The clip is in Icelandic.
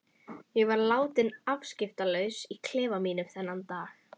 Ég var látin afskiptalaus í klefa mínum þennan dag.